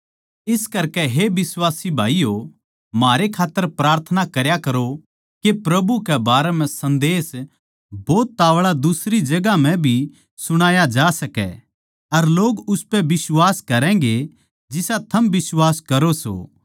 इस करकै हे बिश्वासी भाईयो म्हारै खात्तर प्रार्थना करया करो के प्रभु के बारें म्ह सन्देस भोत ताव्ळा दुसरी जगहां म्ह भी सुणाया जा सकै अर लोग उसपै बिश्वास करैगें जिसा थम बिश्वास करो सों